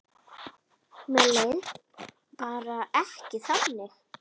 Mér leið bara ekki þannig.